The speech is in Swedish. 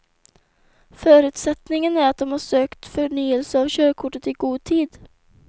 Förutsättningen är att de sökt förnyelse av körkortet i god tid.